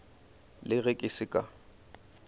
le ge ke se ka